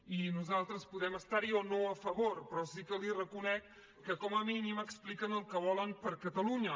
i nosaltres podem estar hi o no a favor però sí que li reconec que com a mínim expliquen el que volen per a catalunya